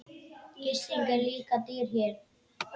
Gisting er líka dýr hér.